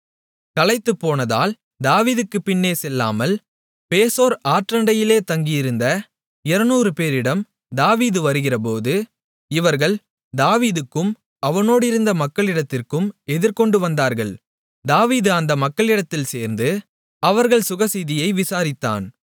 களைத்துப்போனதால் தாவீதுக்குப் பின்னே செல்லாமல் பேசோர் ஆற்றண்டையிலே தங்கியிருந்த 200 பேரிடம் தாவீது வருகிறபோது இவர்கள் தாவீதுக்கும் அவனோடிருந்த மக்களிடத்திற்கும் எதிர்கொண்டு வந்தார்கள் தாவீது அந்த மக்களிடத்தில் சேர்ந்து அவர்கள் சுகசெய்தியை விசாரித்தான்